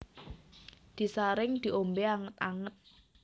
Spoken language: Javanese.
Disaring diombe anget anget